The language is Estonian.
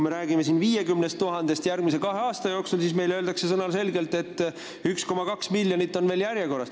Me räägime 50 000-st järgmise kahe aasta jooksul, aga meile öeldakse sõnaselgelt, et 1,2 miljonit inimest on veel järjekorras.